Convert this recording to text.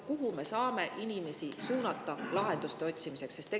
Kuhu me saame inimesi suunata lahenduste otsimiseks?